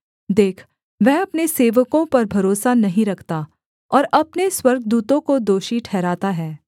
देख वह अपने सेवकों पर भरोसा नहीं रखता और अपने स्वर्गदूतों को दोषी ठहराता है